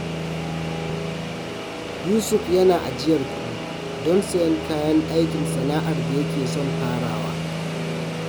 Yusuf yana ajiyar kuɗi don sayen kayan aikin sana’ar da yake son farawa.